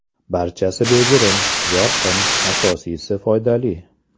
Barchasi bejirim, yorqin, asosiysi foydali.